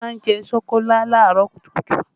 Olu má ń jẹ́ ṣokolá làárọ̀ kùtùkùtù